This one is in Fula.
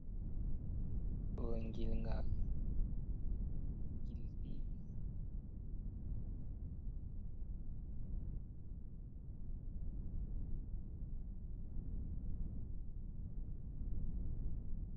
Ɗo ngilnga gilɗɗi.